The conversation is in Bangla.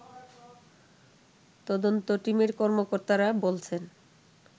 তদন্ত টিমের কর্মকর্তারা বলছেন